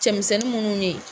Cɛmisɛnnin munnu ne.